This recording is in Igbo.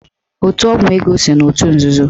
Otu ọgwụ ego so n'otu nzuzo.